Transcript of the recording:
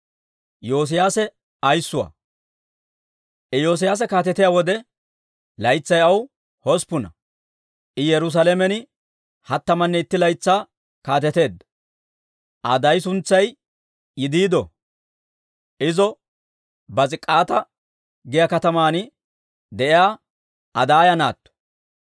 Iyoosiyaase kaatetiyaa wode, laytsay aw hosppuna; I Yerusaalamen hattamanne itti laytsaa kaateteedda. Aa daay suntsay Yidiido; Iza Bos'ik'aata giyaa kataman de'iyaa Adaaya naatto.